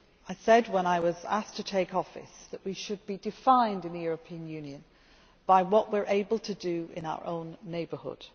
I said when I was asked to take office that we should be defined in the European Union by what we are able to do in our own neighbourhood.